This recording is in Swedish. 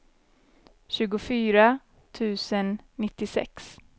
tjugofyra tusen nittiosex